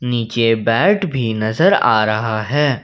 नीचे बैट भी नजर आ रहा है।